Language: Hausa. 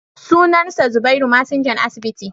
sunansa zubairu masinjan asibiti